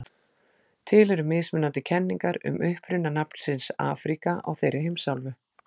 Til eru mismunandi kenningar um uppruna nafnsins Afríka á þeirri heimsálfu.